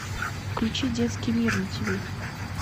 включи детский мир на тв